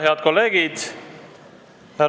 Head kolleegid!